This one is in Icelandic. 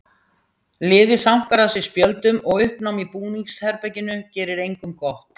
Liðið sankar að sér spjöldum og uppnám í búningsherberginu gerir engum gott.